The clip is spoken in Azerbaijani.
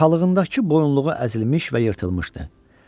Yaxalığındakı bu boyunluğu əzilmiş və yırtılmışdı.